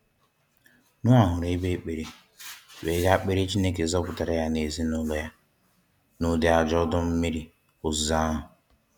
Noah hụrụ ebe ekpere wéé ga kpere Chineke zọpụtara ya nà ezinụlọ ya n'ụdị ajọ odo mmiri ozizo ahu.